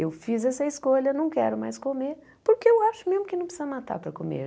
Eu fiz essa escolha, não quero mais comer, porque eu acho mesmo que não precisa matar para comer.